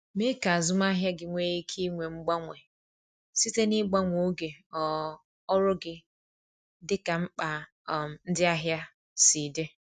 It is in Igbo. Mee ka azụmahịa gị nwee ike inwe mgbanwe site n’ịgbanwe oge um ọrụ gị dịka mkpa um ndị ahịa si dị.